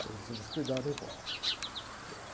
Ele disse assim, mas cuidado, hein?